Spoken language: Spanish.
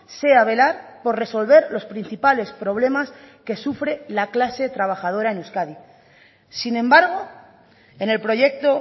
sea velar por resolver los principales problemas que sufre la clase trabajadora en euskadi sin embargo en el proyecto